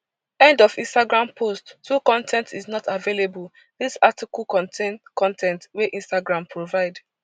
end of instagram post two con ten t is is not available dis article contain con ten t wey instagram provide